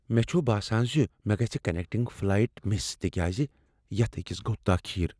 مےٚ چھ باسان ز مےٚ گژھ کنیکٹنگ فلایٹ مس تکیاز یتھ أکس گوٚو تاخیر۔